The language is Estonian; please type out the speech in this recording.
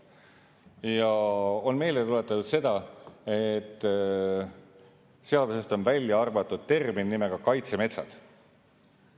Ja on meelde tuletatud seda, et seadusest on välja arvatud termin nimega "kaitsemetsad".